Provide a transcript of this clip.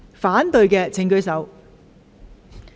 反對的請舉手。